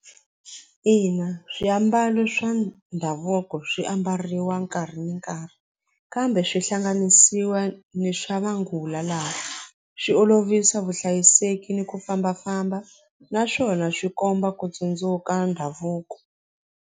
Ina swiambalo swa ndhavuko swiambariwa nkarhi ni nkarhi kambe swi hlanganisiwa ni swa manguva lawa swi olovisa vuhlayiseki ni ku fambafamba naswona swi komba ku tsundzuka ndhavuko.